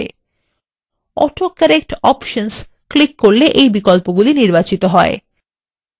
autocorrect options click করলে এই বিকল্পগুলি নির্বাচিত হয়